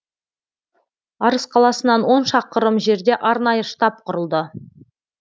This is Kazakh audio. арыс қаласынан он шақырым жерде арнайы штаб құрылды